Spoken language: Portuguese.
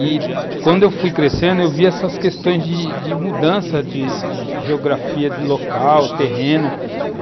E, quando fui crescendo, vi essas questões de mudança de de geografia, de local, terreno.